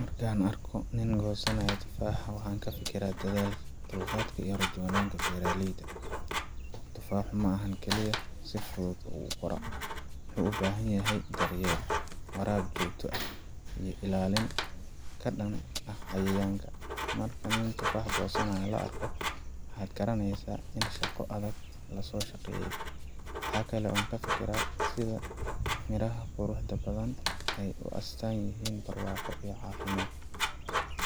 Markaan arko nin goosanaya tufaax, waxaan ka fikiraa dadaalka, dulqaadka iyo rajo wanaagga beeraleyda. Tufaaxu maaha mid kaliya si fudud u koraa wuxuu u baahan yahay daryeel, waraabin joogto ah, iyo ilaalin ka dhan ah cayayaanka. Marka nin tufaax goosanaya la arko, waxaad garanaysaa in shaqo adag laga soo shaqeeyay. Waxa kale oo aan ka fikiraa sida midhahan quruxda badan ay u astaan u yihiin barwaaqo iyo caafimaad.